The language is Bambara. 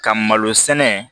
Ka malo sɛnɛ